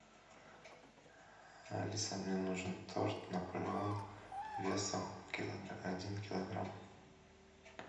алиса мне нужен торт наполеон весом один килограмм